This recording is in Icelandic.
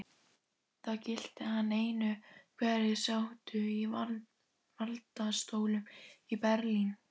Það gilti hann einu, hverjir sátu í valdastólum í Berlín.